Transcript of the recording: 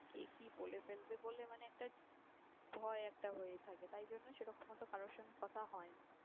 কে কি বলে ফেলবে বলে মানে একটা ভয় একটা হয়ে থাকে। তাই জন্য সে রকম অত কারো সঙ্গে কথা হয় না